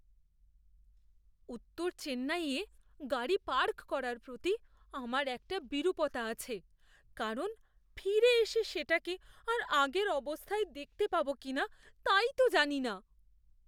উত্তর চেন্নাইয়ে গাড়ি পার্ক করার প্রতি আমার একটা বিরূপতা আছে, কারণ ফিরে এসে সেটাকে আর আগের অবস্থায় দেখতে পাবো কিনা তাই তো জানি না।